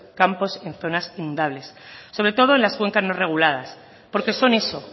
campos en zonas inundables sobre todo en las cuencas no reguladas porque son eso